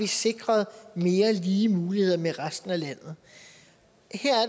sikret mere lige muligheder med resten af landet